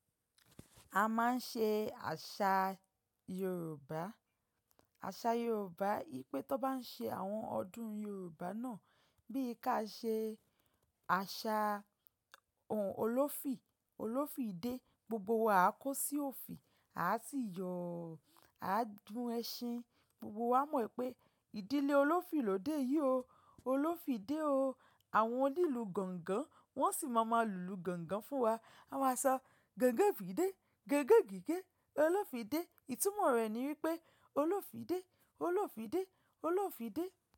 A máa ń ṣe àṣà Yorùbá. Àṣà Yorùbá yí pé tó bá ń ṣe àwọn ọdún Yorùbá náà bíi ká ṣe àṣà òun Olófi, Olófi dé, gbogbo wa á kó sí òfi, a á sì yọ, a á gún ẹṣin, gbogbo wa mọ̀ wipé ìdílé Olófi lòde yìí o, Olófi dé o. Àwọn onílù gángan wọ́n sì máa ma lulu gángan fún wa. A máa sọ "gángan òfi dé, gángan gígé, Olófi dé." Ìtumọ̀ rẹ̀ ni wípé Olófi dé, Olófi dé, Olófi dé.